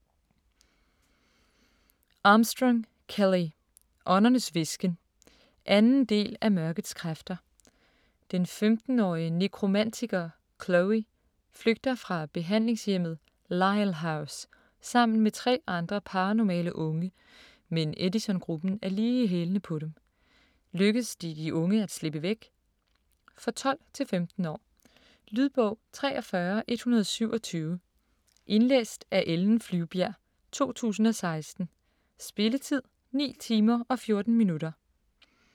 Armstrong, Kelley: Åndernes hvisken 2. del af Mørkets kræfter. Den 15-årige nekromantiker Chloe flygter fra behandlingshjemmet "Lyle house" sammen med 3 andre paranormale unge, men Edisongruppen er lige i hælene på dem. Lykkes det de unge at slippe væk? For 12-15 år. Lydbog 43127 Indlæst af Ellen Flyvbjerg, 2016. Spilletid: 9 timer, 14 minutter.